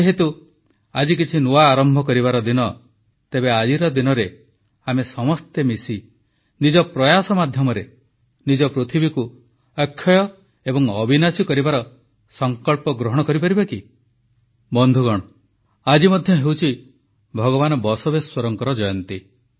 ଯେହେତୁ ଆଜି କିଛି ନୂଆ ଆରମ୍ଭ କରିବାର ଦିନ ତେବେ ଆଜିର ଦିନରେ ଆମେ ସମସ୍ତେ ମିଶି ନିଜ ପ୍ରୟାସ ମାଧ୍ୟମରେ ନିଜ ପୃଥିବୀକୁ ଅକ୍ଷୟ ଏବଂ ଅବିନାଶୀ କରିବାର ସଂକଳ୍ପ ଗ୍ରହଣ କରିପାରିବା କି ବନ୍ଧୁଗଣ ଆଜି ମଧ୍ୟ ହେଉଛି ଭଗବାନ ବସବେଶ୍ୱରଙ୍କ ଜୟନ୍ତୀ